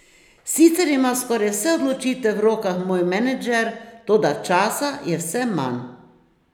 Sicer ima skoraj vse odločitve v rokah moj menedžer, toda časa je vse manj.